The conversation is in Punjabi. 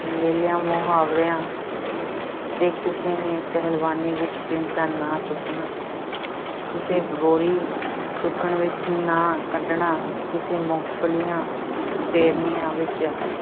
ਮੇਲਿਆਂ-ਮੁਹਾਵਰਿਆਂ ਤੇ ਕਿਸੇ ਨੇ ਪਹਿਲਵਾਨੀ ਵਿੱਚ ਪਿੰਡ ਦਾ ਨਾਂ ਚੁੱਕਣਾ ਕਿਸੇ ਬੋਰੀ ਚੁੱਕਣ ਵਿੱਚ ਨਾਂ ਕੱਢਣਾ, ਕਿਸੇ ਮੂੰਗਲੀਆਂ ਫੇਰਨੀਆਂ ਵਿੱਚ